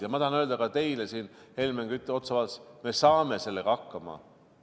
Ja ma tahan öelda ka teile, Helmen Kütt, siin otsa vaadates – me saame sellega hakkama!